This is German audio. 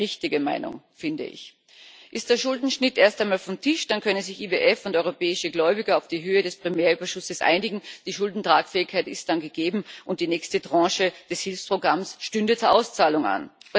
Eine richtige Meinung, finde ich. Ist der Schuldenschnitt erst einmal vom Tisch, dann können sich IWF und europäische Gläubiger auf die Höhe des Primärüberschusses einigen. Die Schuldentragfähigkeit ist dann gegeben und die nächste Tranche des Hilfsprogramms stünde zur Auszahlung